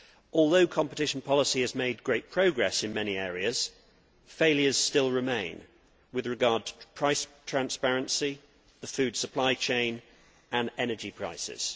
Although competition policy has made great progress in many areas, failures still remain with regard to price transparency, the food supply change and energy prices.